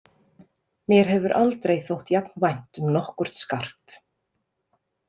Mér hefur aldrei þótt jafn vænt um nokkurt skart.